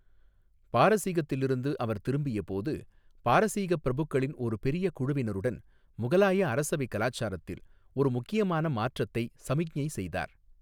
பாரசீகத்திலிருந்து அவர் திரும்பிய போது பாரசீக பிரபுக்களின் ஒரு பெரிய குழுவினருடன் முகலாய அரசவை கலாச்சாரத்தில் ஒரு முக்கியமான மாற்றத்தை சமிக்ஞை செய்தார்.